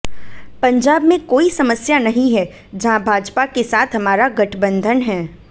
पंजाब में कोई समस्या नहीं है जहां भाजपा के साथ हमारा गठबंधन है